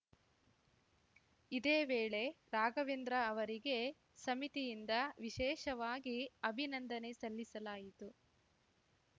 ಇದೇ ವೇಳೆ ರಾಘವೇಂದ್ರ ಅವರಿಗೆ ಸಮಿತಿಯಿಂದ ವಿಶೇಷವಾಗಿ ಅಭಿನಂದನೆ ಸಲ್ಲಿಸಲಾಯಿತು